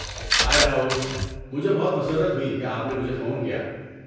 ہائے، راہل! مجھے بہت مسرت ہوئی کہ آپ نے مجھے فون کیا۔